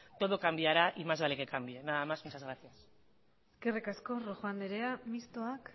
todo cambiará y más vale que cambie nada más muchas gracias eskerrik asko rojo andrea mistoak